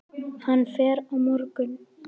Hann fer á morgun.